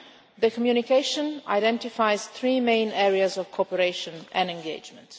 The communication identifies three main areas of cooperation and engagement.